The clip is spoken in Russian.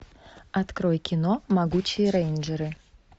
открой кино могучие рейнджеры